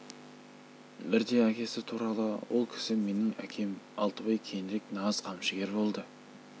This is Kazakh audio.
бірде әкесі туралы ол кісі менің әкем алтыбай кейінірек нағыз қамшыгер болды